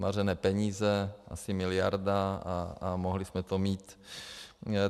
Zmařené peníze, asi miliarda, a mohli jsme to mít.